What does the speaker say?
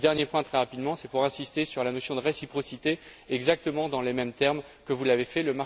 Le dernier point, très rapidement, c'est pour insister sur la notion de réciprocité, exactement dans les mêmes termes que vous l'avez fait.